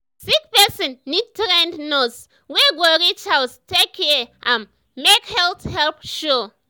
sick person need trained nurse wey go reach house take care am make health help show.